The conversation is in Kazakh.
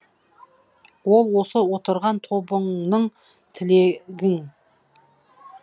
ол осы отырған тобыңның тілегің